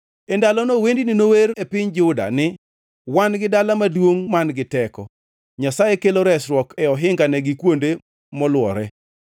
E ndalono wendni nower e piny Juda ni: Wan gi dala maduongʼ man-gi teko; Nyasaye kelo resruok e ohingane gi kuonde molwore.